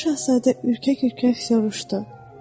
Balaca şahzadə ürkək-ürkək soruşdu: